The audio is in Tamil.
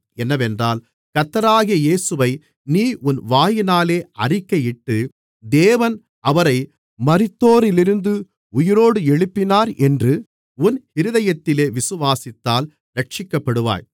என்னவென்றால் கர்த்தராகிய இயேசுவை நீ உன் வாயினாலே அறிக்கையிட்டு தேவன் அவரை மரித்தோரிலிருந்து உயிரோடு எழுப்பினார் என்று உன் இருதயத்திலே விசுவாசித்தால் இரட்சிக்கப்படுவாய்